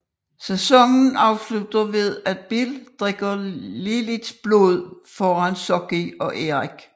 Sæsonen afslutter ved at Bill drikker Liliths blod foran Sookie og Eric